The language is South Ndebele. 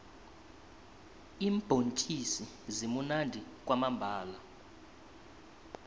iimbhontjisi zimunandi kwamambhala